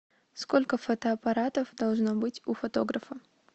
сколько фотоаппаратов должно быть у фотографа